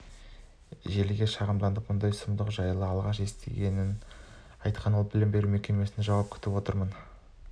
желіге шағымданыпты мұндай сұмдық жайлы алғаш естігенін айтқан ол білім беру мекемесінен жауап күтіп отыр